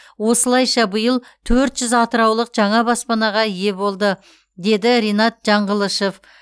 осылайша биыл төрт жүз атыраулық жаңа баспанаға ие болды деді ринат жаңғылышов